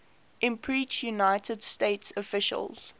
impeached united states officials